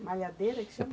malhadeira que chama?